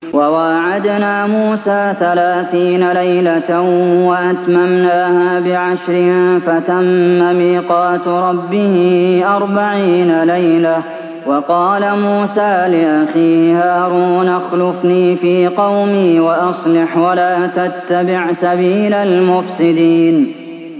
۞ وَوَاعَدْنَا مُوسَىٰ ثَلَاثِينَ لَيْلَةً وَأَتْمَمْنَاهَا بِعَشْرٍ فَتَمَّ مِيقَاتُ رَبِّهِ أَرْبَعِينَ لَيْلَةً ۚ وَقَالَ مُوسَىٰ لِأَخِيهِ هَارُونَ اخْلُفْنِي فِي قَوْمِي وَأَصْلِحْ وَلَا تَتَّبِعْ سَبِيلَ الْمُفْسِدِينَ